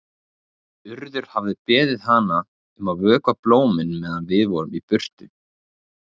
Urður hafði beðið hana að vökva blómin meðan við vorum í burtu.